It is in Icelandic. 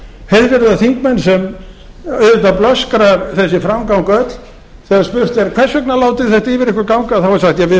heiðvirðir þingmenn sem auðvitað blöskrar þessi framganga öll þegar spurt er hvers vegna látið þið þetta yfir áður ganga þá er sagt við